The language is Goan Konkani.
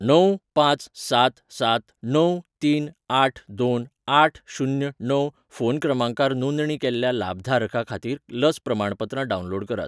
णव, पांच, सात, सात, णव, तीन आठ, दोन, आठ, शुन्य, णव फोन क्रमांकार नोंदणी केल्ल्या लाभधारका खातीर लस प्रमाणपत्रां डावनलोड करात.